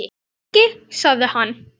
Lengi? sagði hann.